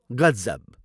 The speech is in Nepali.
गजब।